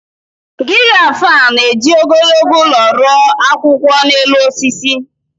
Giraf a na-eji ogologo olu ru akwụkwọ n’elu osisi?